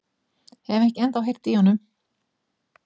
Hef ekki ennþá heyrt í honum.